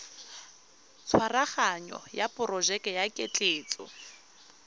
tshwaraganyo ya porojeke ya ketleetso